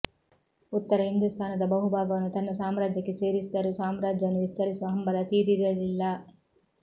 ಉತ್ತರ ಹಿಂದೂಸ್ತಾನದ ಬಹು ಭಾಗವನ್ನು ತನ್ನ ಸಾಮ್ರಾಜ್ಯಕ್ಕೆ ಸೇರಿಸಿದರೂ ಸಾಮ್ರಾಜ್ಯವನ್ನು ವಿಸ್ತರಿಸುವ ಹಂಬಲ ತೀರಿರಲಿಲ್ಲ